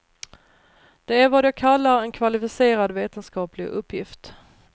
Det är vad jag kallar en kvalificerad vetenskaplig uppgift.